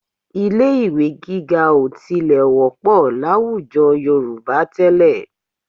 Ilé-ì̀wé gíga ò tilẹ̀ wọ́pọ̀ láwùjọ Yorùbá tẹ́lẹ̀